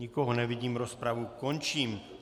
Nikoho nevidím, rozpravu končím.